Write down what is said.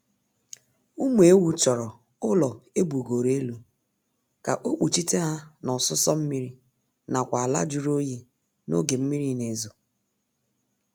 Ụmụ ewu chọrọ ụlọ ebugoro elu ka ọ kpuchite ha na ọsụsọ mmiri nakwa ala jụrụ oyi n'oge mmiri na-ezo